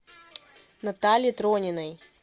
наталье трониной